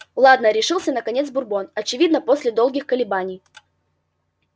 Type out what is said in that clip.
ладно решился наконец бурбон очевидно после долгих колебаний